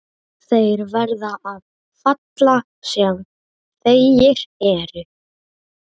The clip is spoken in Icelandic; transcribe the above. Þeir verða að falla sem feigir eru.